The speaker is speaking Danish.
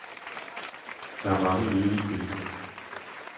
Der er mange nydelige billeder.